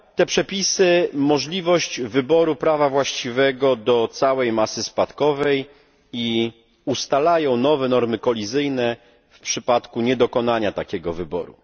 Przepisy te dają możliwość wyboru prawa właściwego do całej masy spadkowej i ustalają nowe normy kolizyjne w przypadku niedokonania takiego wyboru.